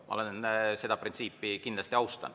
Ma seda printsiipi kindlasti austan.